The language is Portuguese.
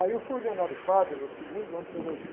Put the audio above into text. Aí eu fui ordenado padre no segundo ano de teologia.